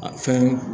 A fɛn